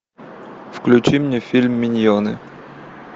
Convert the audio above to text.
включи мне фильм миньоны